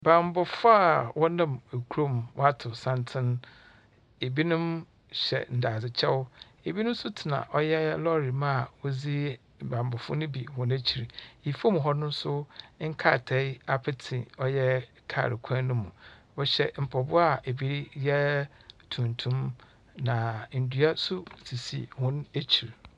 Banbɔfo a wɔnam ekurow mu, watow santsen. Ebinom hyɛ dadze kyɛw, ebinom nso tsena ɔyɛ lɔɔre mu a wodzi banbɔfo no bi wɔn ekyir. Efom hɔ no so nkratae apetse ɔyɛ kaar kwan no mu. Wɔhyɛ mpaboa a ebi yɛ tuntum, na endua nso sisi wɔn ekyir.